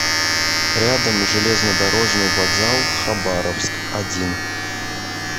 рядом железнодорожный вокзал хабаровск один